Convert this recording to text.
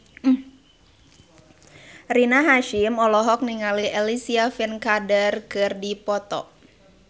Rina Hasyim olohok ningali Alicia Vikander keur diwawancara